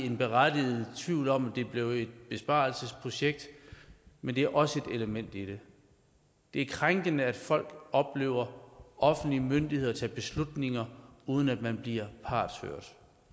en berettiget tvivl om om det blev et besparelsesprojekt men det er også et element i det det er krænkende at folk oplever offentlige myndigheder tage beslutninger uden at man bliver partshørt